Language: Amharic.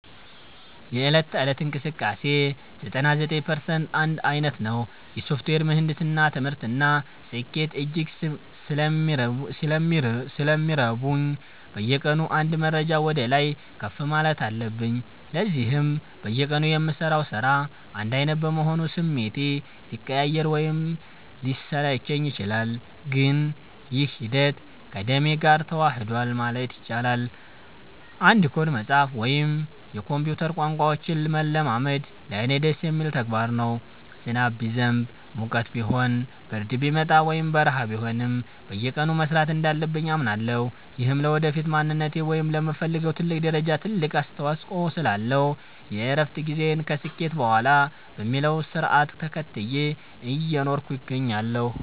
የዕለት ተዕለት እንቅስቃሴዬ 99% አንድ ዓይነት ነው። የሶፍትዌር ምህንድስና ትምህርት እና ስኬት እጅግ ስለሚረቡኝ፣ በየቀኑ አንድ ደረጃ ወደ ላይ ከፍ ማለት አለብኝ። ለዚህም በየቀኑ የምሠራው ሥራ አንድ ዓይነት በመሆኑ ስሜቴ ሊቀያየር ወይም ሊሰለቸኝ ይችላል፤ ግን ይህ ሂደት ከደሜ ጋር ተዋህዷል ማለት ይቻላል። አንድ ኮድ መጻፍ ወይም የኮምፒውተር ቋንቋዎችን መለማመድ ለእኔ ደስ የሚል ተግባር ነው። ዝናብ ቢዘንብ፣ ሙቀት ቢሆን፣ ብርድ ቢመጣ ወይም በረሃ ቢሆንም፣ በየቀኑ መሥራት እንዳለብኝ አምናለሁ። ይህም ለወደፊት ማንነቴ ወይም ለምፈልገው ትልቅ ደረጃ ትልቅ አስተዋጽኦ ስላለው፣ የእረፍት ጊዜን ከስኬት በኋላ በሚለው ሥርዓት ተከትዬ እየኖርኩ እገኛለሁ።